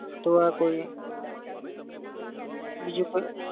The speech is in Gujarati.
તો આ કોઈ બીજું કોઈ?